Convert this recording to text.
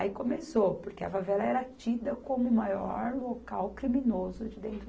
Aí começou, porque a favela era tida como o maior local criminoso de dentro.